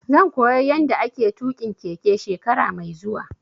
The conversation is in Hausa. Zan koya yanda ake tuƙin keke shekara mai zuwa